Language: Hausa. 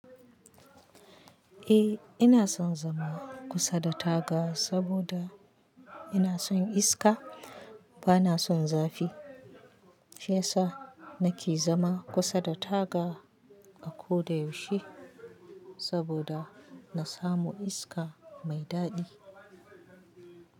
Eh ina son zama kusa da taga saboda ina son iska bana son zafi. Shiyasa nake zama kusa da taga a ko da yaushe saboda na samu iska mai daɗi.